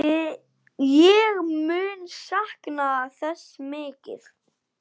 Ég mun sakna þess mikið.